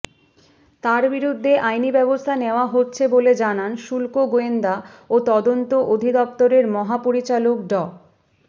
তার বিরুদ্ধে আইনি ব্যবস্থা নেওয়া হচ্ছে বলে জানান শুল্ক গোয়েন্দা ও তদন্ত অধিদপ্তরের মহাপরিচালক ড